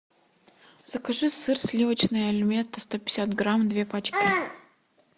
закажи сыр сливочный альметте сто пятьдесят грамм две пачки